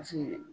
Paseke